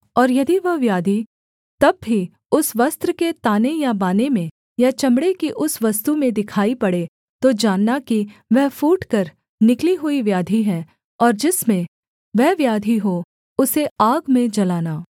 और यदि वह व्याधि तब भी उस वस्त्र के ताने या बाने में या चमड़े की उस वस्तु में दिखाई पड़े तो जानना कि वह फूटकर निकली हुई व्याधि है और जिसमें वह व्याधि हो उसे आग में जलाना